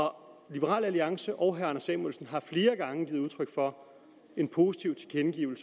liberal alliance og herre anders samuelsen har flere gange givet udtryk for en positiv